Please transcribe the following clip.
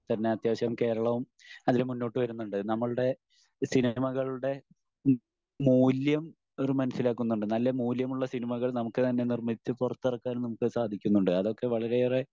തന്നെ അത്യാവശ്യം കേരളവും അതിൽ മുന്നോട്ട് വരുന്നുണ്ട് നമ്മളുടെ സിനിമകളുടെ മൂല്യം ഇവർ മനസിലാക്കുന്നുണ്ട്. നല്ല മൂല്യമുള്ള സിനിമകൾ നമുക്ക് തന്നെ നിർമിച്ചു പൊറത്തിറക്കാൻ നമുക്ക് സാധിക്കുന്നുണ്ട്. അതൊക്കെ വളരെയേറെ